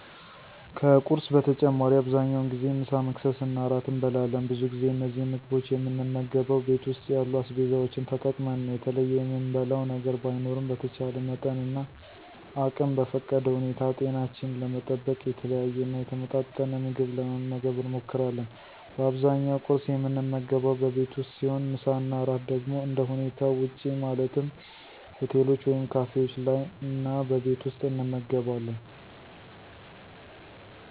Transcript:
ከቁርስ በተጨማሪ አብዛኛውን ጊዜ ምሳ፣ መክሰስ እና እራት እንበላለን። ብዙ ጊዜ እነዚህን ምግቦች የምንመገበው ቤት ውስጥ ያሉ አስቤዛዎችን ተጠቅመን ነው። የተለየ የምንበላው ነገር ባይኖርም በተቻለ መጠንና አቅም በፈቀደ ሁኔታ ጤናችንን ለመጠበቅ የተለያየና የተመጣጠን ምግብ ለመመገብ እንሞክራለን። በአብዛኛው ቍርስ የምንመገበው በቤት ውስጥ ሲሆን ምሳ እና እራት ደግሞ እንደሁኔታው ውጪ ማለትም ሆቴሎች ወይም ካፌዎች ላይ እና በቤት ውስጥ እንመገባለን።